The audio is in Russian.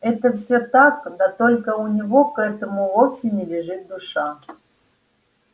это все так да только у него к этому вовсе не лежит душа